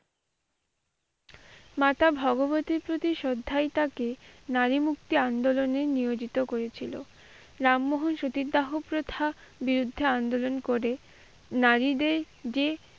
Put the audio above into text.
মাতা ভগবতীর প্রতি শ্রদ্ধায় তাকে নারী মুক্তি আন্দোলনের নিয়োজিত করেছিল। রামমোহন সতীদাহ প্রথার বিরুদ্ধে আন্দোলন করে নারীদের যে,